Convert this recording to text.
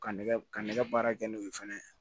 Ka nɛgɛ ka nɛgɛ baara kɛ n'o ye fɛnɛ